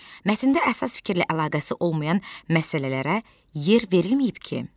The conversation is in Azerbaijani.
Mətndə əsas fikirlə əlaqəsi olmayan məsələlərə yer verilməyib ki?